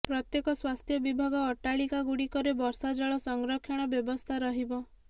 ପ୍ରତ୍ୟେକ ସ୍ୱାସ୍ଥ୍ୟ ବିଭାଗ ଅଟ୍ଟାଳିକା ଗୁଡିକରେ ବର୍ଷା ଜଳ ସଂରକ୍ଷଣ ବ୍ୟବସ୍ଥା ରହିବ